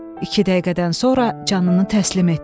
İki dəqiqədən sonra canını təslim etdi.